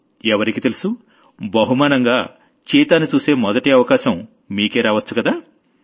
ఎవరికి తెలుసు బహుమానంగా చీతాని చూసే మొదటి అవకాశం మీకే రావొచ్చుకదా